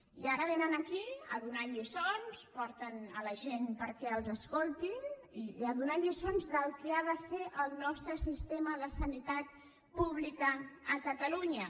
i ara vénen aquí a donar lliços porten la gent perquè els escoltin i a donar lliçons del que ha de ser el nostre sistema de sanitat pública a catalunya